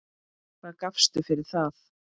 Hvað gafstu fyrir það?